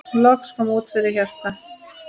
Loks kom út lítið hjarta